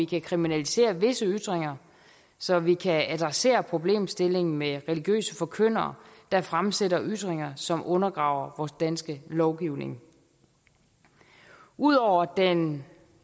kan kriminalisere visse ytringer så man kan adressere problemstillingen med religiøse forkyndere der fremsætter ytringer som undergraver vores danske lovgivning ud over den